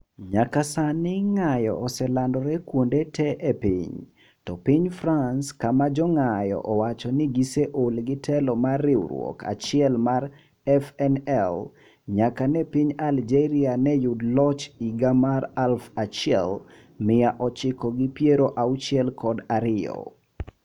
Nyaka sani ng'ayo oselandore kuonde te e piny to piny France kama jo ng'ayo owacho ni giseol gi telo mar riwruok achiel mar FNL nyaka ne piny Algeria ne yud loch higa mar aluf achiel mia ochiko gi piero auchiel kod ariyo